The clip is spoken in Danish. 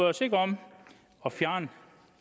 os ikke om